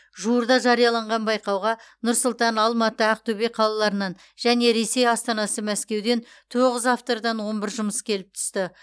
жуырда жарияланған байқауға нұр сұлтан алматы ақтөбе қалаларынан және ресей астанасы мәскеуден тоғыз автордан он бір жұмыс келіп түсті